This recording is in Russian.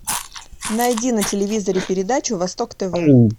найди на телевизоре передачу восток тв